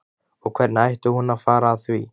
Og hvernig ætti hún að fara að því?